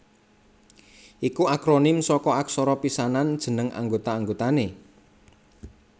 iku akronim saka aksara pisanan jeneng anggota anggotané